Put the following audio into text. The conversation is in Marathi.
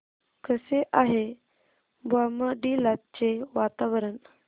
कसे आहे बॉमडिला चे वातावरण